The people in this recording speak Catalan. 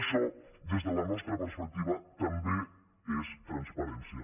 això des de la nostra perspectiva també és transparència